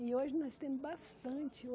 E hoje nós temos bastante.